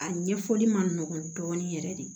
A ɲɛfɔli ma nɔgɔn dɔɔnin yɛrɛ de